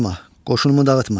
Qoşunumu dağıtma.